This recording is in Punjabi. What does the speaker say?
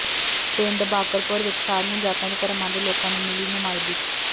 ਪਿੰਡ ਬਾਕਰਪੁਰ ਵਿੱਚ ਸਾਰੀਆਂ ਜਾਤਾਂ ਤੇ ਧਰਮਾਂ ਦੇ ਲੋਕਾਂ ਨੂੰ ਮਿਲੀ ਨੁਮਾਇੰਦਗੀ